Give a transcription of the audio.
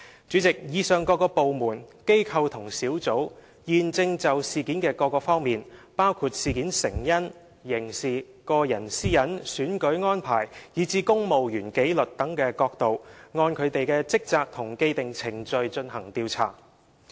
主席，以上各部門、機構和專責小組現時正就事件的各方面，包括成因、刑事、個人私隱、選舉安排，以至公務員紀律等角度，均各按其職權和既定程序進行調查。